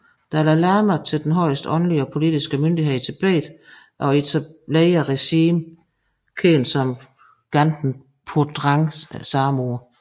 Dalai Lama til den højeste åndelige og politiske myndighed i Tibet og etablerede regimet kendt som Ganden Phodrang samme år